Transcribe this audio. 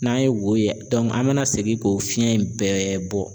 N'an ye wo ye an bɛ na segin k'o fiɲɛ in bɛɛ bɔ.